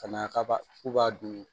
Ka na kaba k'u b'a dun